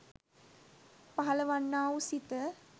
පහළවන්නා වූ සිත